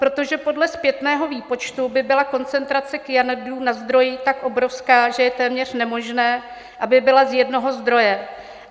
Protože podle zpětného výpočtu by byla koncentrace kyanidů na zdroji tak obrovská, že je téměř nemožné, aby byla z jednoho zdroje.